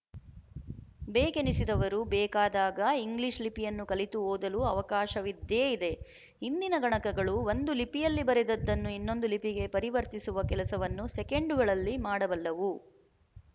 ಬೇಕೆನಿಸಿದವರು ಬೇಕಾದಾಗ ಇಂಗ್ಲಿಶ ಲಿಪಿಯನ್ನು ಕಲಿತು ಓದಲು ಅವಕಾಶವಿದ್ದೇ ಇದೆ ಇಂದಿನ ಗಣಕಗಳು ಒಂದು ಲಿಪಿಯಲ್ಲಿ ಬರೆದದ್ದನ್ನು ಇನ್ನೊಂದು ಲಿಪಿಗೆ ಪರಿವರ್ತಿಸುವ ಕೆಲಸವನ್ನು ಸೆಕೆಂಡುಗಳಲ್ಲಿ ಮಾಡಬಲ್ಲವು